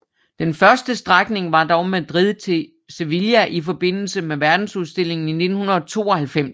Den første strækning var dog Madrid til Sevilla i forbindelse med Verdensudstillingen i 1992